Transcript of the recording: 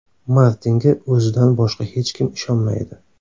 Martinga o‘zidan boshqa hech kim ishonmaydi.